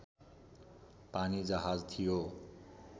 पानीजहाज थियो